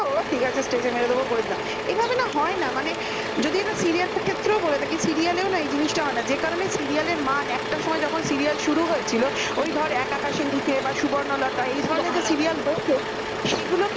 ও ঠিক আছে stage মেরে দেবো করে দিলাম এভাবে না হয় না মানে এটা serial র ক্ষেত্রেও বলে থাকি serial ও নাই জিনিসটা হয় না যে কারণে serial র মান একটা সময়ে যখন serial শুরু হয়েছিল ওই ধর এক আকাশের নিচে বা সুবর্ণলতা এ ধরনের serial হচ্ছে সুবর্ণলতা সেগুলো তো